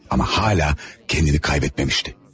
Ama hala kendini kaybetmemişti.